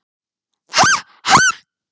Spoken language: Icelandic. Ha- ha.